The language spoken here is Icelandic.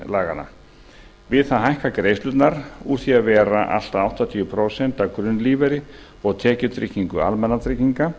laganna við það hækka greiðslurnar úr því að vera allt að áttatíu prósent af grunnlífeyri og tekjutryggingu almannatrygginga